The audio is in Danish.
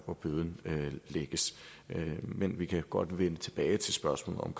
hvor bøden lægges men vi kan godt vende tilbage til spørgsmålet om